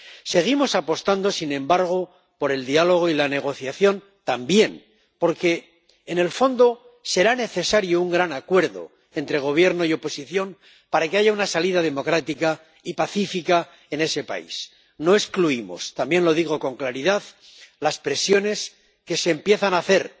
Seguimos apostando también, sin embargo, por el diálogo y la negociación, porque en el fondo será necesario un gran acuerdo entre Gobierno y oposición para que haya una salida democrática y pacífica en ese país. No excluimos —también lo digo con claridad— las presiones que empieza a hacer